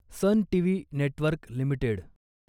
sun TV network limited